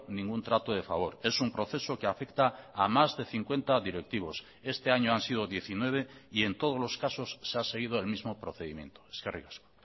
ningún trato de favor es un proceso que afecta a más de cincuenta directivos este año han sido diecinueve y en todos los casos se ha seguido el mismo procedimiento eskerrik asko